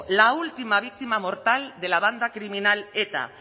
la última víctima mortal de la banda criminal eta